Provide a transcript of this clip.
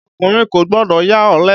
Ọkùnrin kò gbọdọ̀ ya ọ̀lẹ.